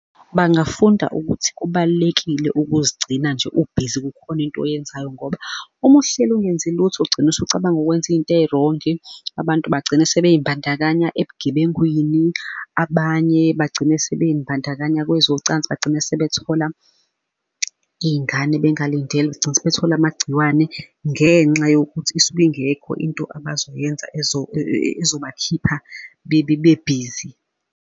Bangafunda ukuthi kubalulekile ukuzigcina nje u-busy kukhona into oyenzayo, ngoba uma uhleli ungenzi lutho ugcine usucabanga ukwenza iy'nto ey'rongi. Abantu bagcina sebezibandakanya ebugebengwini, abanye bagcine sebey'mbandakanya kwezocansi, bagcine sebethola iy'ngane bengalindele bagcine sebethola amagciwane, ngenxa yokuthi isuke ingekho into abazoyenza ezobakhipha bebe be-busy.